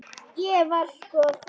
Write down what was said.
Ég var sko fegin!